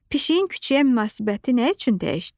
Pişiyin küçəyə münasibəti nə üçün dəyişdi?